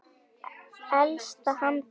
Elsta handrit